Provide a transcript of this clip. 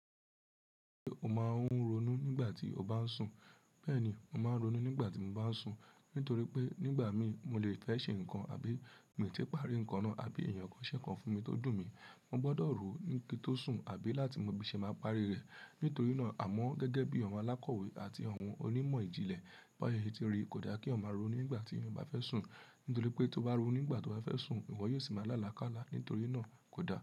Ṣé o máa ń ronú nígbà tí o bá ń sùn? Bẹ́ẹ̀ni, mo máa ń ronú nígbà tí mo bá ń sùn. Nítorí pé nígbà mí mo le fẹ́ ṣe nǹkan àbí mi ò tíì parí nǹkan náà, àbí èèyàn kan ṣé nnkan fún mi tó dùn mi. Mo gbọdọ̀ rò ó ní kí n tó sùn àbí láti mọ bí n ṣe máa parí rẹ̀. Nítorí náà, àmọ́ gẹ́gẹ́ bí àwọn alákọ̀wé àti àwọn onímọ̀ ìjìnlẹ̀, baye tí ri kò da kí ènìyàn maa ronú nígbà tí o bá fẹ́ sùn. Nítorí pé tó bá ronú nígbà tó bá fẹ́ sùn, ìwọ yóò sì máa lála káala. Nítorí náà kò da.